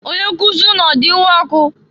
Onyenkuzi unu ọ di iwe ọkụ?